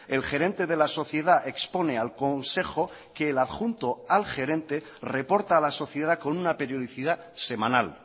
el gerente de la sociedad expone al consejo que el adjunto al gerente reporta a la sociedad con una periodicidad semanal